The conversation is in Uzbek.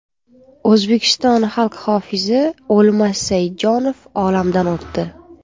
O‘zbekiston xalq hofizi O‘lmas Saidjonov olamdan o‘tdi.